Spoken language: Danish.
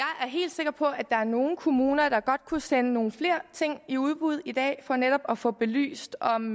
sikker på at der er nogle kommuner der godt kunne sende nogle flere ting i udbud i dag for netop at få belyst om